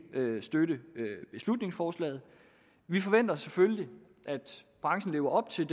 støtte beslutningsforslaget vi forventer selvfølgelig at branchen lever op til